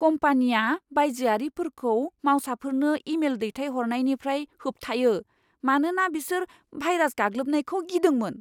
कम्पानिया बायजोआरिफोरखौ मावसाफोरनो इमेल दैथायहरनायनिफ्राय होबथायो, मानोना बिसोर भायरास गाग्लोबनायखौ गिदोंमोन।